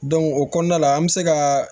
o kɔnɔna la an bɛ se ka